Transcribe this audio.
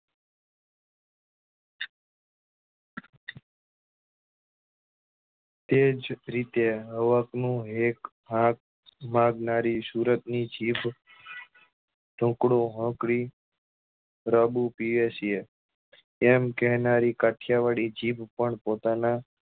તે જ રીતે હવક નો હેક હાક મારનારી સુરત ની જીભ પ્રદુપીય છે એમ કેનારી કાઠીયાવાડી જીભ પણ પોતાના